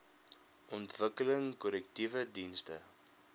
ontwikkeling korrektiewe dienste